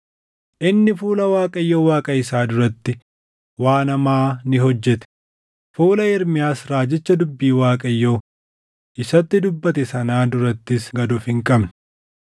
Inni fuula Waaqayyo Waaqa isaa duratti waan hamaa ni hojjete; fuula Ermiyaas raajicha dubbii Waaqayyoo isatti dubbate sanaa durattis gad of hin qabne.